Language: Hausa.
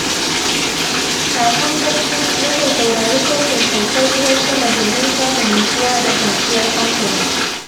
Kafin bacci, nakan saurari sautin saukar ruwan sama domin samun nutsuwa da kwanciyar hankali